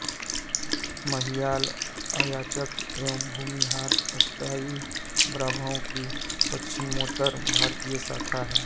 महियाल अयाचक एवं भूमिहारत्यागी ब्राह्मणों की पश्चिमोत्तर भारतीय शाखा है